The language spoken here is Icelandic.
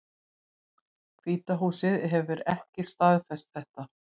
Hvíta húsið hefur ekki staðfest þetta